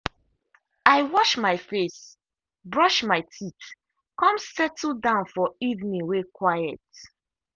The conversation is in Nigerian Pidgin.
i wash my facebrush my teeth come settle down for evening way quiet.